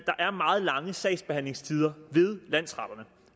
er meget lange sagsbehandlingstider ved landsretterne